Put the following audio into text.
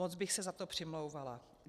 Moc bych se za to přimlouvala.